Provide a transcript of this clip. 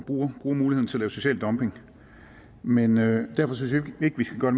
bruge muligheden til at lave social dumping men derfor synes vi ikke vi skal gøre